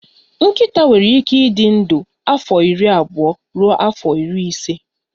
Nkịta nwere ike ịdị ndụ afọ iri abụọ ruo afọ iri ise